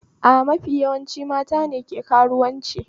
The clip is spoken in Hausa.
A mafi yawan lokaci matane ke karuwanci